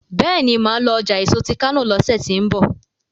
béèni má lọ ọjà èso tí kano lọsẹ tí n bọ